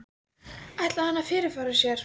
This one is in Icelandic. Símon Birgisson: Ætlaði hann að fyrirfara sér?